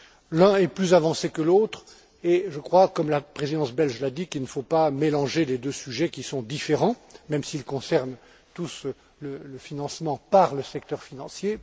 L'un est plus avancé que l'autre et je crois, comme la Présidence belge l'a dit, qu'il ne faut pas mélanger les deux sujets, qui sont différents, même s'ils concernent tous le financement par le secteur financier.